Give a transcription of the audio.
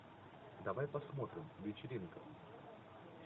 давай посмотрим вечеринка